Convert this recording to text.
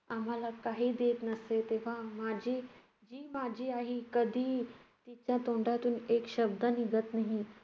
आम्हाला काही देत नसे, तेव्हा माझी~ जी माझी आई कधीही तिच्या तोंडातून एक शब्द निघत नाही.